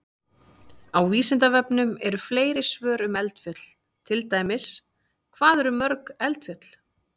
Á Vísindavefnum eru fleiri svör um eldfjöll, til dæmis: Hvað eru til mörg eldfjöll?